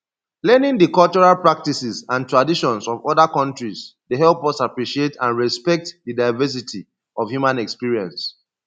learning di cultural practices and traditions of oda countries dey help us appreciate and respect di diversity of human experience